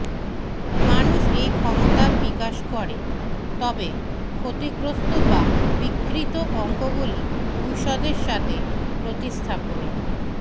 মানুষ এই ক্ষমতা বিকাশ করে তবে ক্ষতিগ্রস্থ বা বিকৃত অঙ্গগুলি ঔষধের সাথে প্রতিস্থাপনের